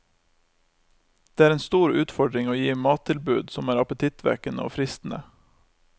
Det er en stor utfordring å gi mattilbud som er appetittvekkende og fristende.